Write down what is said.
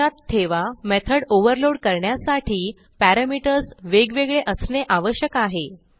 लक्षात ठेवा method overload करण्यासाठी पॅरामीटर्स वेगवेगळे असणे आवश्यक आहे